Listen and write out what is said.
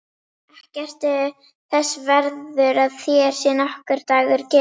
Ekki ertu þess verður að þér sé nokkur dagur gefinn.